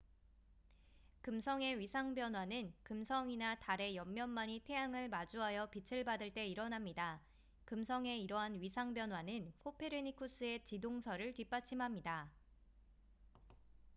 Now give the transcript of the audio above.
금성의 위상 변화는 금성이나 달의 옆면만이 태양을 마주하여 빛을 받을 때 일어납니다 금성의 이러한 위상 변화는 코페르니쿠스의 지동설을 뒷받침합니다